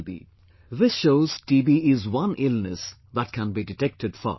" This shows TB is one illness that can be detected fast